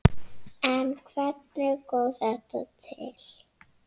En hvernig kom þetta til?